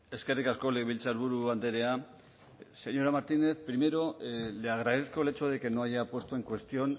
eskerrik asko legebiltzarburu andrea señora martínez primero le agradezco el hecho de que no haya puesto en cuestión